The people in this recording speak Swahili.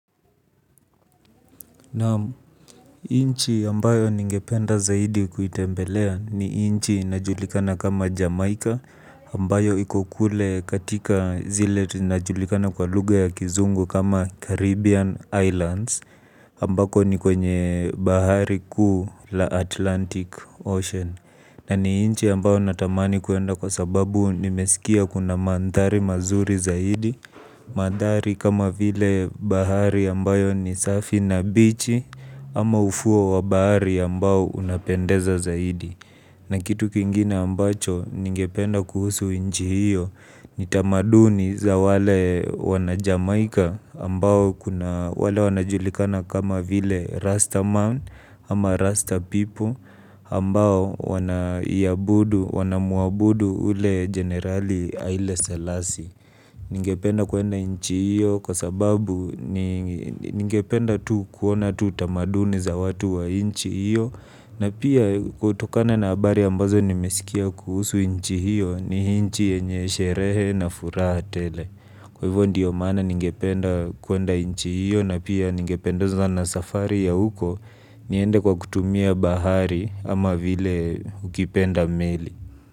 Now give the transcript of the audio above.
Naam nchi ambayo ningependa zaidi kuitembelea ni nchi inajulikana kama Jamaica Ambayo iko kule katika zile zinajulikana kwa lugha ya kizungu kama Caribbean Islands Ambako ni kwenye bahari kuu la Atlantic Ocean. Na ni inchi ambayo natamani kuenda kwa sababu nimesikia kuna mandhari mazuri zaidi mandhari kama vile bahari ambayo ni safi na bichi ama ufuo wa bahari ambao unapendeza zaidi na kitu kingine ambacho ningependa kuhusu nchi hiyo ni tamaduni za wale wana Jamaika ambao wale wanajulikana kama vile raster man ama raster people ambao wana muabudu ule generali Aile Selasi. Ningependa kuenda nchi hiyo kwa sababu ningependa tu kuona tu tamaduni za watu wa nchi hiyo. Na pia kutokana na habari ambazo nimesikia kuhusu nchi hiyo ni nchi yenye sherehe na furaha tele. Kwa hivyo ndio maana ningependa kuenda nchi hiyo na pia ningependezwa na safari ya huko. Niende kwa kutumia bahari ama vile ukipenda meli.